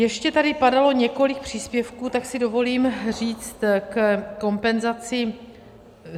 Ještě tady padalo několik příspěvků, tak si dovolím říct ke kompenzacím.